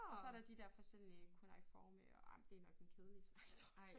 Og så der de dér forskellige cuneiforme og ej men det jo nok den kedelige snak tror jeg